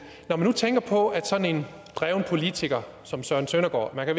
når man nu tænker på at sådan en dreven politiker som søren søndergaard man